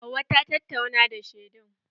Hauwa ta tatauna da shedun.